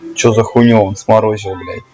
что за х смолой